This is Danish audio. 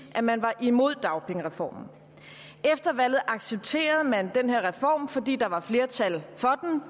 at man var imod dagpengereformen efter valget accepterede man den her reform fordi der var flertal for